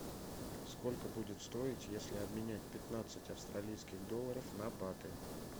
сколько будет стоить если обменять пятнадцать австралийских долларов на баты